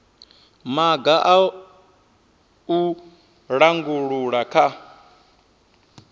maga a u langula kha